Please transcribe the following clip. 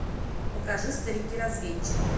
покажи старики разведчики